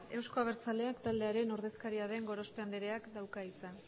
euzko abertzaleak taldearen ordezkaria den gorospe andereak dauka hitza